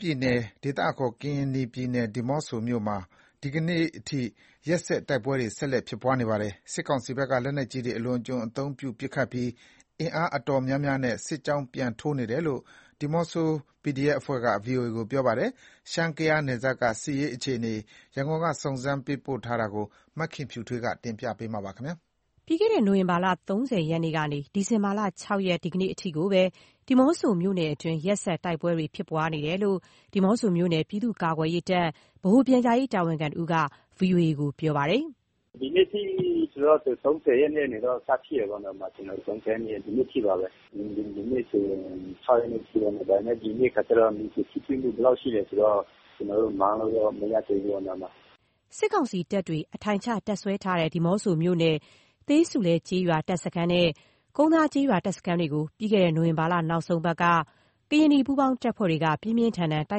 ပြည်နယ် ဒေသအခေါ် ကရင်နီပြည်၊ ဒီးမော့ဆိုမြို့နယ်မှာ ဒီကနေ့အထိ တိုက်ပွဲတွေ နေ့စဉ်ရက်ဆက်ဖြစ်နေပါတယ်။ စစ်ကောင်စီဘက်က လက်နက်ကြီးတွေ အလွန်အကျွံသုံးပစ်ခတ်ပြီး အင်အားအတော်များများနဲ့ စစ်ကြောင်း ပြန်ထိုးနေတယ်လို့ ဒီးမော့ဆို PDF အဖွဲ့က VOA ကို ပြောပါတယ်။ ရှမ်း-ကယားနယ်စပ်က စစ်ရေးအခြေအနေ ရန်ကုန်က စုံစမ်း မေးမြန်းထားတာကို မခင်ဖြူထွေး က တင်ပြပေးထားပါတယ်။ ပြီးခဲ့တဲ့ နိုဝင်ဘာလ ၃၀ ရက်နေ့ကနေ ဒီဇင်ဘာ ၆ ရက် ဒီကနေ့အထိကို ဒီးမော့ဆိုမြို့နယ်တွင်း ရက်ဆက်တိုက်ပွဲတွေ ဖြစ်ပွားနေတယ်လို့ ဒီးမော့ဆိုမြို့နယ် ပြည်သူ့ ကာကွယ်ရေးတပ် ဗဟိုပြန်ကြားရေးတာဝန်ခံတဦးက VOA ကို ခုလို ပြောပါတယ်။ “ဒီနေ့အထိဆိုတော့ (နိုဝင်ဘာ) ၃၀ ရက်နေ့ကနေတော့ စဖြစ်တယ်ပေါ့နော်၊ ၃၀ ရက်နေ့ကနေ ဒီနေ့အထိပါပဲ။ ဒီနေ့ဆိုရင် ၆ ရက်နေ့အထိပေါ့နော်- ဒီနေ့ခါကျတော့ မြေပြင်ထိတွေ့မှု ဘယ်လောက်ရှိလဲဆိုတော့ ကျနော်တို့ပြောလို့ မရသေးဘူးပေါ့နော်။” စစ်ကောင်စီတပ်တွေ အထိုင်ချ တပ်စွဲထားတဲ့ ဒီးမော့ဆိုမြို့နယ် သေးဆူလဲကျေးရွာတပ်စခန်းနဲ့ ကုန်သားကျေးရွာတပ်စခန်းတွေကို ပြီးခဲ့တဲ့ နိုဝင်ဘာလ နောက်ဆုံးအပတ်က ကရင်နီပူးပေါင်းတပ်တွေက ပြင်းပြင်းထန်ထန် တို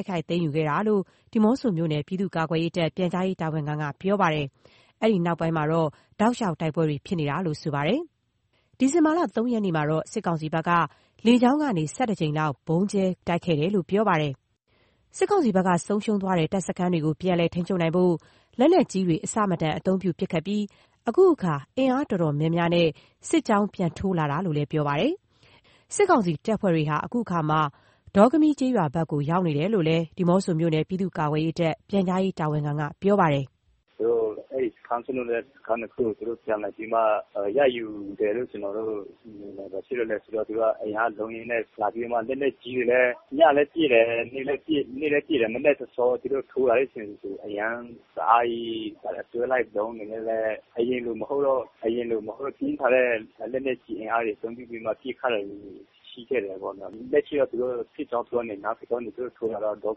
က်ခိုက်သိမ်းယူခဲ့တာလို့ ဒီးမော့ဆိုမြို့နယ် ပြည်သူ့ကာကွယ်ရေးတပ် ပြန်ကြားရေးတာဝန်ခံက ပြောပါတယ်။ အဲ့ဒီနောက်ပိုင်း တောက်လျှောက် တိုက်ပွဲတွေ ဖြစ်နေတာလို့ ဆိုပါတယ်။ ဒီဇင်ဘာ ၃ ရက်နေ့မှာတော့ စစ်ကောင်စီဘက်က လေကြောင်းကနေ ၁၁ ကြိမ်လောက် ဗုံးကြဲ ပစ်ကူတိုက်ခိုက်ခဲ့တယ်လို့လည်း ပြောပါတယ်။ စစ်ကောင်စီဘက်က ဆုံးရှုံးသွားတဲ့ တပ်စခန်းတွေကို ပြန်လည်ထိန်းချုပ်နိုင်ဖို့ လက်နက်ကြီးတွေ အဆမတန်အသုံးပြုပစ်ခတ်ပြီး အခုအခါ အင်အားအတော်များနဲ့ စစ်ကြောင်းပြန်ထိုးလာတယ်လို့ ဆိုပါတယ်။ အဲဒီ့ စစ်ကောင်စီတပ်တွေဟာ အခုအခါ ဒေါကမီး ကျေးရွာဘက်ကို ရောက်ရှိနေတယ်လို့ ဒီးမော့ဆိုမြို့နယ် ပြည်သူ့ ကာကွယ်ရေးတပ် ပြန်ကြားရေး တာဝန်ခံက ပြောပါတယ်။ “သူတို့ အဲ့စခန်းစွန့်လွှတ်လိုက်ရတဲ့စခန်း ၂ ခုကို သူတို့ပြန်လည်ပြီးမှ ရယူတယ်လု့ိ ကျနော်တို့ မြင်တယ်။ ဘာဖြစ်လဲဆိုတော့ သူတို့က အင်အားအလုံးအရင်းနဲ့လာပြီးမှ လက်နက်ကြီးတွေနဲ့ ညလည်းပစ်တယ်၊ နေ့လည်းပစ်တယ်။ မနက်စောစော သူတို့ထိုးလာတဲ့အချိန်ဆို တအားကြီး အတွဲလိုက် ဒုန်းတွေနဲ့ အရင်လိုမဟုတ်ဘူး။ ပြင်းထန်တဲ့ လက်နက်ကြီးအင်အားတွေ အသုံးပြုပြီးမှ ပစ်ခတ်နေတာရှိခဲ့တယ်ပေါ့နော်။ လက်ရှိတော့ စစ်ကြောင်း ဒီနားလာကနေ သူတို့ထိုးလာတော့ ဒေါ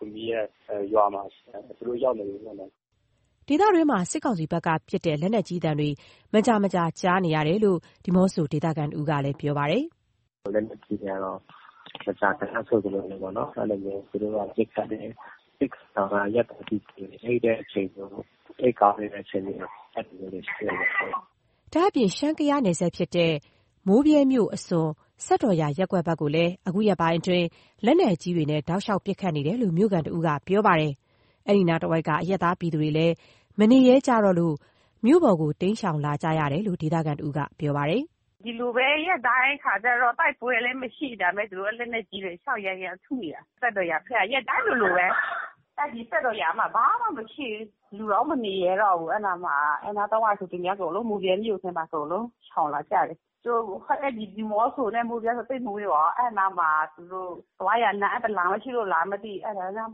ကမီးရဲ့ရွာမှာ သူတို့ရောက်နေပြီးပေါ့နော်” ဒေသတွင်းမှာ စစ်ကောင်စီဘက်ကပစ်တဲ့ လက်နက်ကြီးသံတွေ မကြာမကြာ ကြားနေရတယ်လို့ ဒီးမော့ဆို ဒေသခံတဦးကပြောပါတယ်။ “လက်နက်ကြီးတွေကတော့ မကြာခဏဆိုသလိုပဲပေါ့နော် အဲ့လိုမျိုး သူတို့က ပစ်ခတ်တယ်။ စစ်ကောင်စီက အရပ်သားပြည်သူတွေ အိပ်ကောင်းတဲ့အချိန်ဆို ပစ်ခတ်တာတွေရှိတယ်ဗျဟုတ်။” ဒါ့အပြင် ရှမ်း-ကယားနယ်စပ်ဖြစ်တဲ့ မိုးဗြဲမြို့အစွန် စက်တော်ရာရပ်ကွက်ဘက်ကိုလည်း ခုရက်ပိုင်း လက်နက်ကြီးနဲ့ တောက်လျှောက် ပစ်ခတ်နေတယ်လို့ မြို့ခံတစ်ဦးက ပြောပါတယ်။ အဲ့ဒီနားတဝိုက်က အရပ်သားပြည်သူတွေလည်း မနေရဲကြလို့ မြို့ပေါ်ကို တိမ်းရှောင် လာကြရတယ်လို့ ဆိုပါတယ်။ “ဒီလိုပဲ ရက်တိုင်းခါကျတော့ တိုက်ပွဲလည်းမရှိ။ ဒါပေမယ့် သူတို့က လက်နက်ကြီးတွေ တောက်လျှောက် ရမ်းထုနေတာ၊ စက်တော်ရာဘက်ကို ရက်တိုင်းလိုလိုပဲ။ အဲ့ဒီစက်တော်ရာမှာ ဘာမှမရှိဘူး။ လူတောင်မနေရဲတော့ဘူး။ အဲ့နားတဝိုက်ဆို မိုးဗြဲမြို့ထဲမှာ အကုန်လုံး ရှောင်လာကြတယ်။ သူတို့ အဲ့ဒီ ဒီးမော့ဆိုနဲ့ မိုးဗြဲဆို သိပ်မဝေးပါဘူး။ အဲ့နားမှာ သူတို့ သွားရာလမ်းက တလမ်းပဲရှိလားမသိဘူး။ အဲ့ဒါလှမ်း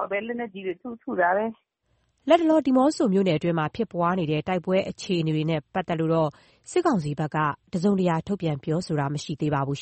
ပြီး လက်နက်ကြီးနဲ့ ထုတာပဲ။” လတ်တလော ဒီးမော့ဆို တိုက်ပွဲအခြေအနေနဲ့ ပတ်သက်လို့ စစ်ကောင်စီဘက်က တစုံတရာထုတ်ပြန်တာမရှိသေးပါဘူး